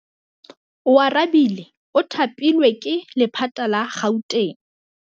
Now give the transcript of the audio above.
Oarabile o thapilwe ke lephata la Gauteng.